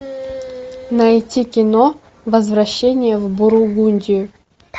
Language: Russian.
найти кино возвращение в бургундию